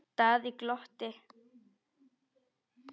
Daði glotti.